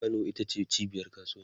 Kano ita ce cibiyar kasuwanci